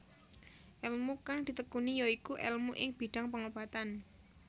Elmu kang ditekuni ya iku elmu ing bidhang pengobatan